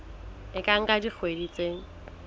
e ka nka dikgwedi tse